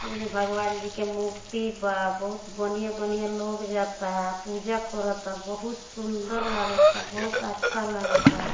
ऐमें भगवान जी के मूर्ति बा बहुत बनिहां - बनिहां लोग जाता पूजा करोता बहुत सुन्दर लगाता बहुत अच्छा लगाता।